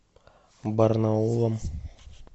барнаулом